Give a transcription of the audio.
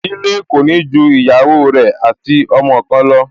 Ìdílé kò ní ju ìyàwó rẹ̀ ati ọmọ kan lọ